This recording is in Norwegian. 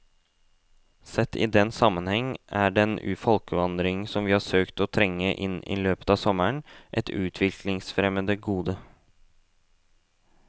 Sett i den sammenheng er den folkevandring som vi har søkt å trenge inn i løpet av sommeren, et utviklingsfremmende gode.